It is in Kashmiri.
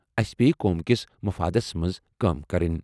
اسہِ پیٚیہِ قوم کِس مفادَس منٛز کٲم کرٕنۍ۔